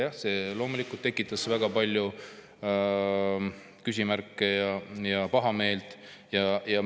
Jah, see loomulikult tekitas väga palju küsimärke ja pahameelt.